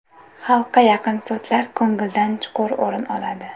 Xalqqa yaqin so‘zlar ko‘ngildan chuqur o‘rin oladi.